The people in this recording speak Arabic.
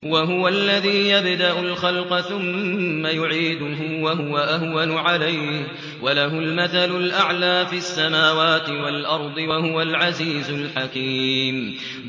وَهُوَ الَّذِي يَبْدَأُ الْخَلْقَ ثُمَّ يُعِيدُهُ وَهُوَ أَهْوَنُ عَلَيْهِ ۚ وَلَهُ الْمَثَلُ الْأَعْلَىٰ فِي السَّمَاوَاتِ وَالْأَرْضِ ۚ وَهُوَ الْعَزِيزُ الْحَكِيمُ